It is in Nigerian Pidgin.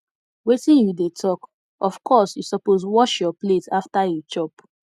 wetin you dey talk of course you suppose wash your plate after you chop